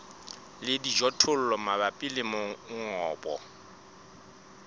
le dijothollo mabapi le mongobo